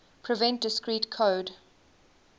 prevent discrete code